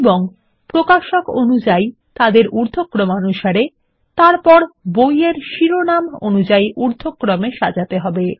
এবং প্রকাশক অনুযাই তাদের উর্ধক্রমানুসারে সাজানো তারপর বইয়ের শিরোনাম অনুসারে ঊর্ধক্রমে সাজাতে হবে